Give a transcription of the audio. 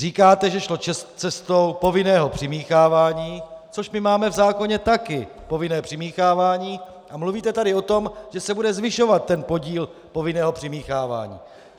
Říkáte, že šlo cestou povinného přimíchávání, což my máme v zákoně také, povinné přimíchávání, a mluvíte tady o tom, že se bude zvyšovat ten podíl povinného přimíchávání.